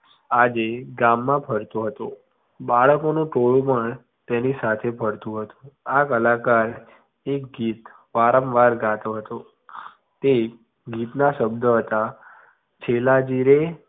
આજે ગામમાં ફરતો હતો બાળકોનું ટોળું પણ તેની સાથે ફરતું હતું. આ કલાકાર એક ગીત વારંવાર ગાતો હતો તે ગીત ના શબ્દો હતા છેલાજીરે